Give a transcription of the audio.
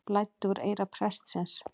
Blæddi úr eyra prestsins